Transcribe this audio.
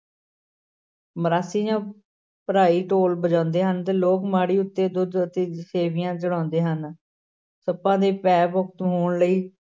ਮਰਾਸੀ ਜਾਂ ਭਰਾਈ ਢੋਲ ਵਜਾਉਂਦੇ ਹਨ ਤੇ ਲੋਕ ਮੜ੍ਹੀ ਉੱਤੇ ਦੁੱਧ ਅਤੇ ਸੇਵੀਆਂ ਚੜ੍ਹਾਉਂਦੇ ਹਨ, ਸੱਪਾਂ ਦੇ ਭੈ-ਮੁਕਤ ਹੋਣ ਲਈ